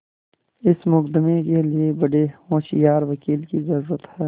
इस मुकदमें के लिए बड़े होशियार वकील की जरुरत है